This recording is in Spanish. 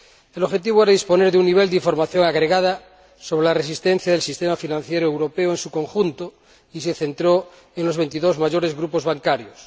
El objetivo era disponer de un nivel de información agregada sobre la resistencia del sistema financiero europeo en su conjunto, y se centraron en los veintidós mayores grupos bancarios.